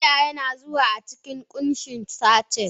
Taliya yana zuwa a cikin kunshin sachet.